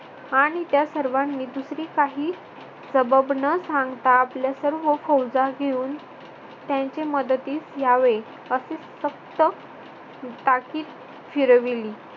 आणि त्या सर्वांनी दुसरी काही सबब न सांगता आपल्या सर्व फौजा घेऊन त्यांचे मदतीस यावे अशी सक्त ताकीद फिरवली.